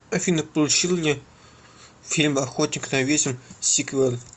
афина получил ли фильм охотник на ведьм сиквел